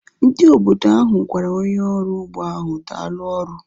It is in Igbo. Ndị obodo ahu gwara onye ọrụ ugbo ahu daalu ọrụ